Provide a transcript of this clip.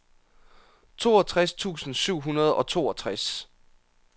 toogtres tusind syv hundrede og toogtres